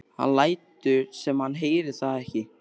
Hann lætur sem hann heyri það ekki.